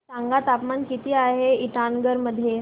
सांगा तापमान किती आहे इटानगर मध्ये